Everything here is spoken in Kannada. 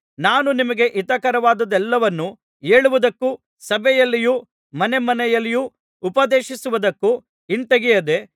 ನಾನು ನಿಮಗೆ ಹಿತಕರವಾದದ್ದೆಲ್ಲವನ್ನು ಹೇಳುವುದಕ್ಕೂ ಸಭೆಯಲ್ಲಿಯೂ ಮನೆಮನೆಯಲ್ಲಿಯೂ ಉಪದೇಶಿಸುವದಕ್ಕೂ ಹಿಂತೆಗೆಯದೆ